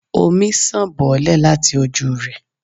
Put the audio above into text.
omí sán bolè latí ojú re